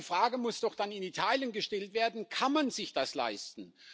Aber die Frage muss doch dann in Italien gestellt werden Kann man sich das leisten?